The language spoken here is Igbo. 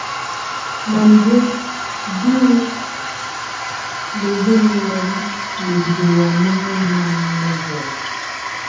“ Na mbụ, di m na ezinụlọ m megidere ọmụmụ m na - amụ Novel.